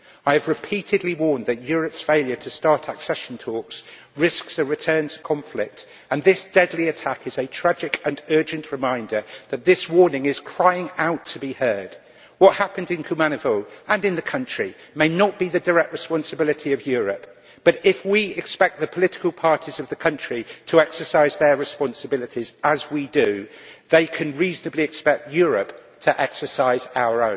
I have repeatedly warned that Europe's failure to start accession talks risks a return to conflict, and this deadly attack is a tragic and urgent reminder that this warning is crying out to be heard. What happened in Kumanovo, and in the country, may not be the direct responsibility of Europe, but if we expect the political parties of the country to exercise their responsibilities and we do expect that then they can reasonably expect Europe to exercise ours.